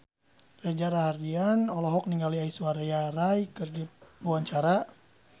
Reza Rahardian olohok ningali Aishwarya Rai keur diwawancara